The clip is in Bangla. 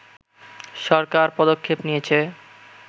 সরকার পদক্ষেপ নিয়েছে